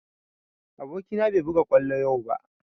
Aboki na bai buga kwallo yau ba